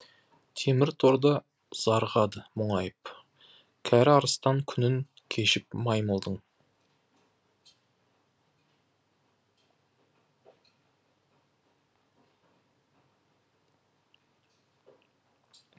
темір торда зарығады мұңайып кәрі арыстан күнін кешіп маймылдың